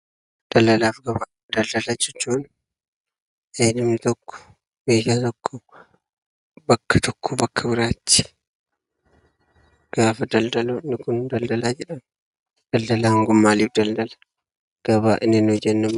Daldala jechuun namni tokko meeshaa tokko bakka tokkoo bakka biraatti gaafa daldalu daldala jedhama. Daldalaan maaliif daldala? Gabaa inni nuyi jennu immoo maali?